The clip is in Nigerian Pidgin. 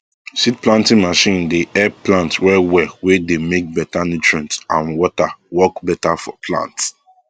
seed planting machine dey help plant well well wey dey make better nutrient and water work better for plant